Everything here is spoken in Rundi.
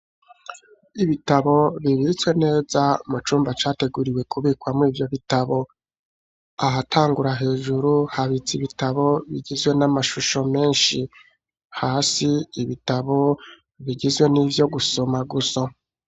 Ibitabo bibitswe neza mu cumba categuriwe kubikwamwo ivyo bitabo, ahatangura hejuru habitse ibitabo bigizwe n'amashusho menshi, hasi ibitabo bigizwe n'ivyo gusoma gusa.